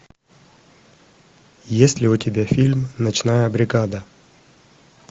есть ли у тебя фильм ночная бригада